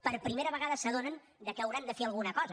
per primera vegada s’adonen que hauran de fer alguna cosa